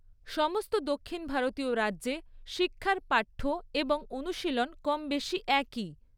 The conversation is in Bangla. সমস্ত দক্ষিণ ভারতীয় রাজ্যে শিক্ষার পাঠ্য এবং অনুশীলন কমবেশি একই।